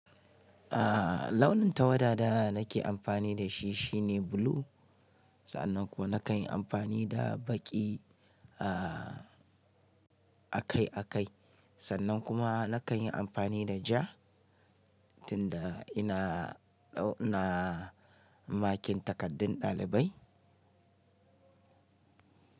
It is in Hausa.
Aaa launin tawada da nake amfani da shi shine blue. Sannan kuwa nakan yi amfani da baƙi aaaa akai akai. Sannan kuma nakan yi amfani da ja tunda ina na makin takardun ɗalibai.